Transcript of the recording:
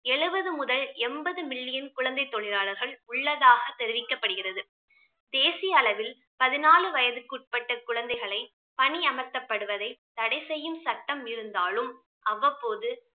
எழுபது முதல் என்பது million குழந்தை தொழிலாளர்கள் உள்ளதாக தெரிவிக்கப்படுகிறது. தேசிய அளவில் பதினாலு வயதுக்குட்பட்ட குழந்தைகளை பணி அமர்த்தப்படுவதை தடை செய்யும் சட்டம் இருந்தாலும் அவ்வப்போது